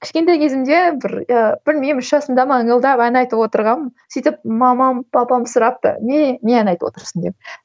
кішкентай кезімде бір ыыы білмеймін үш жасымда ма ыңылдап ән айтып отырғанмын сөйтіп мамам папам сұрапты не не ән айтып отырсың деп